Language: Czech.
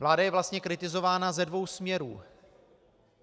Vláda je vlastně kritizována ze dvou směrů.